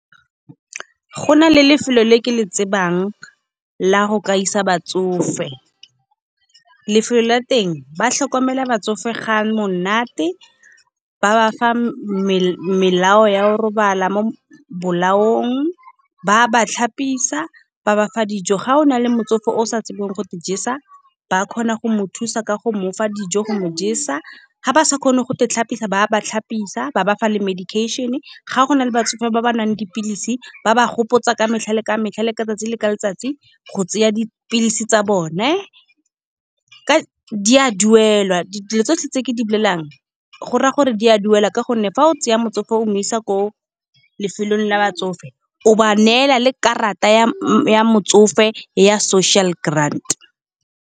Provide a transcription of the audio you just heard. Go na le lefelo le ke le tsebang la go ka isa batsofe. Lefelo la teng ba tlhokomela batsofe ga monate, ba ba fa melao ya o robala mo bolaong, ba ba tlhapisa, ba bafa dijo. Ga o na le motsofe o sa tsebeng go i jesa, ba kgona go mo thusa ka go mofa dijo go mo jesa. Ga ba sa kgone go itlhapisa, ba ba tlhapisa ba bafa le medication. Ga go na le batsofe ba ba nwang dipilisi ba ba gopotsa, ka metlha le ka metlha le ka tsatsi le letsatsi, go tsaya dipilisi tsa bone. Di a duelwa dilo tsotlhe tse ke di bolelang, go raya gore di a duela ka gonne fa o tseya motsofe o mo isa ko lefelong la batsofe, o ba neela le karata ya motsofe ya social grant.